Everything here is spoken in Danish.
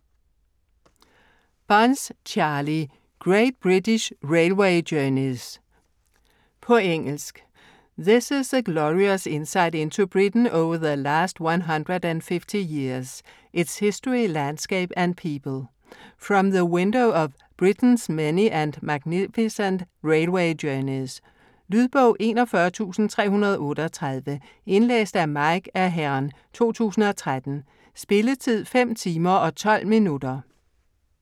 Bunce, Charlie: Great British railway journeys På engelsk. This is a glorious insight into Britain over the last 150 years - its history, landscape and people - from the window of Britain's many and magnificent railway journeys. Lydbog 41338 Indlæst af Mike Aherne, 2013. Spilletid: 5 timer, 12 minutter.